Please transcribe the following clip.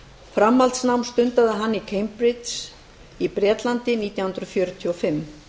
framhaldsnám stundaði hann í cambridge í bretlandi nítján hundruð fjörutíu og fimm